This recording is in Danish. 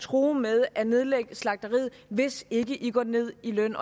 true med at nedlægge slagteriet hvis ikke i går ned i løn